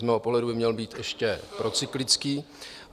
Z mého pohledu by měl být ještě procyklický.